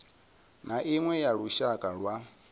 na iṅwe ya lushaka lwa